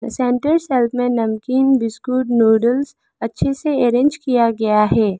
Central shelf में नमकीन biscuit noodles अच्छे से अरेंज किया गया है।